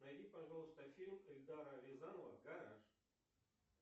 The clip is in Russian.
найди пожалуйста фильм эльдара рязанова гараж